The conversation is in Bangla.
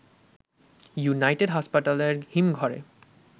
ইউনাইটেড হাসপাতালের হিমঘরে